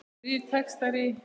Þrír textar í